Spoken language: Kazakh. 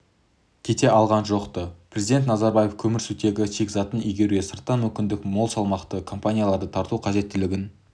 кете алған жоқ-ты президент назарбаев көмірсутегі шикізатын игеруге сырттан мүмкіндігі мол салмақты компанияларды тарту қажеттігін